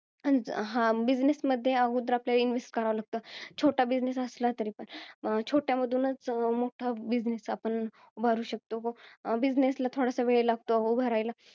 हा, business मध्ये आगोदर आपल्याला, invest करावं लागतं. छोटा business असला तरी. छोट्या मधूनच मोठा business आपण उभारू शकतो. business ला थोडा वेळ लागतो उभारायला.